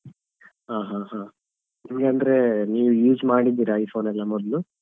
ಹ ಹ ಇಲ್ಲಾಂದ್ರೆ ನೀವ್ use ಮಾಡಿದ್ದೀರಾ iPhone ಎಲ್ಲ ಮೊದ್ಲು?